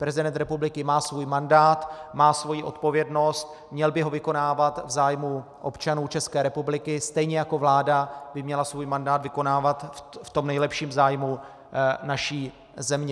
Prezident republiky má svůj mandát, má svoji odpovědnost, měl by ho vykonávat v zájmu občanů České republiky, stejně jako vláda by měla svůj mandát vykonávat v tom nejlepším zájmu naší země.